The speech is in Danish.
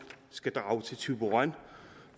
skal drage til thyborøn